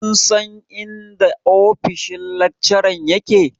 Kun san inda ofishin lakcharan yake?